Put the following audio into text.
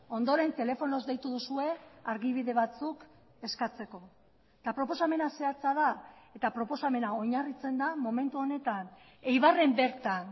ondoren telefonoz deitu duzue argibide batzuk eskatzeko eta proposamena zehatza da eta proposamena oinarritzen da momentu honetan eibarren bertan